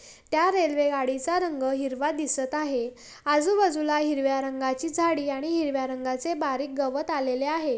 त्या रेल्वे गाडीचा रंग हिरवा दिसत आहे आजूबाजूला हिरव्या रंगाची झाडी आणि हिरव्या रंगाचे बारीक गवत आलेले आहे.